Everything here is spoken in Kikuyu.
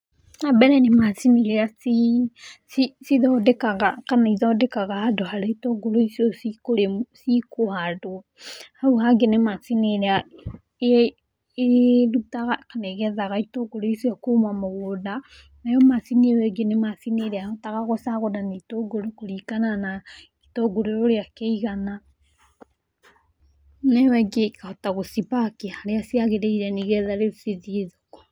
Wa mbere nĩ macini iria cithondekaga handũ harĩa itũngũrũ icio cikũhandwo, hau hangĩ nĩ macini ĩria ĩrutaga kana ĩgethaga ĩtũngũrũ icio kuma mũgũnda, nayo macini ĩyo ĩngĩ nĩ macini ĩrĩa ĩhotaga gũcagũrania ĩtũngũrũ kũringana na gĩtũngũrũ ũrĩa kĩigana, na ĩyo ĩngĩ ĩkahota gũcipaki harĩa ciagĩrĩire nĩgetha rĩu cithiĩ thoko.